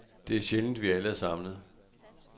Det er sjældent, at vi alle er samlet.